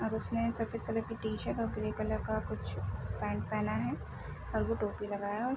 और उसने सफ़ेद कलर के टी-शर्ट और ग्रे कलर का कुछ पैंट पहना है और वो टोपी लगाया है।